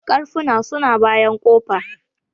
Karfuna su na bayan kofa.